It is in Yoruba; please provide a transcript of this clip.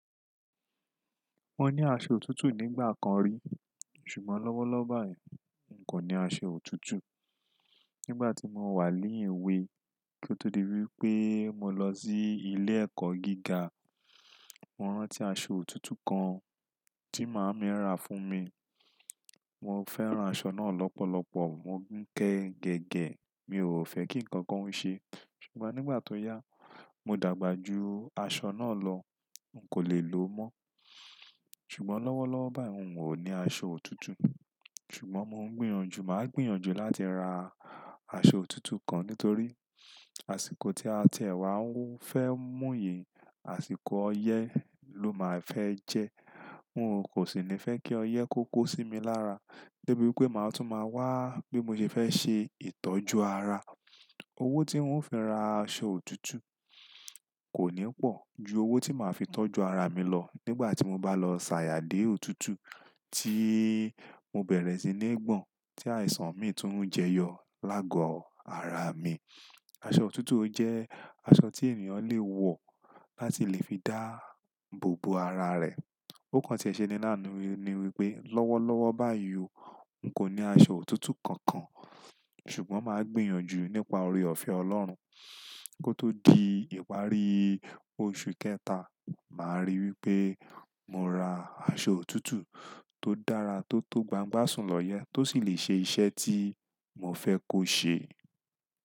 Mo ní aṣọ òtútù nígbà kan rí, ṣùgbọ́n lọ́wọ́lọ́wọ́ báyìí n kò ní aṣọ òtútù. Nígbà tí mo wà ní èwe, kí ó tó di wípé mo lọ sí ilé ẹ̀kọ́ gíga, mo rántí aṣọ òtútù kan tí màámi rà fún mi. Mo fẹ́ràn aṣọ náà lọ́pọ̀lọpọ̀, mo ń kẹ gẹ̀gẹ̀, mi ò fẹ́ kí ǹkan ó se é. Ṣùgbọ́n nígbà tó yá, mo dàgbà ju aṣọ náà lọ, n kò lè lò ó mọ́. Ṣùgbọ́n lọ́wọ́lọ́wọ́ báyìí n ò ní aṣọ òtútù. Ṣùgbọ́n mo ń gbìyànjú, mà á gbìyànjú láti ra aṣọ òtútù kan nítorí àsìkò tí a ti ẹ̀ wá ń fẹ́ mú yìí, àsìkò ọyẹ́ ló máa fẹ́ jẹ́. N ò kò sì ní fẹ́ kí ọyẹ́ kó kó sí mi lára, débi wípé màá tún máa wá bí mo ṣe fẹ́ ṣe ìtọ́jú ara. Owó tí ń ò fi ra aṣọ òtútù kò ní pọ̀ ju owó tí màá fi tọ́jú ara mi lọ nígbà tí mo bá lọ sàyà dé òtútù tí mo bẹ̀rẹ̀ sí ní gbọ̀n tí àìsàn mi tún ń jẹyọ lágọ̀ ara mi. Aṣọ òtútù ó jẹ́ aṣọ tí ènìyàn lè wọ̀ láti lè fi dáàbòbo ara rẹ̀. Ó kàn ti ẹ̀ ṣe ní àánú ni wípé lọ́wọ́lọ́wọ́ báyìí o n kò ní aṣọ òtútù kankan, ṣùgbọ́n màá gbìyànjú nípa oore ọ̀fẹ́ Ọlọ́run kó tó di ìparí oṣù kẹta, màá rí wípé mo ra aṣọ òtútù tó dára tó tó gbangba sùn lọ́yẹ́ tó sì lè ṣe iṣẹ́ tí mo fẹ́ kó ṣe.